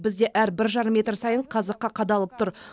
бізде әр бір жарым метр сайын қазыққа қадалып тұр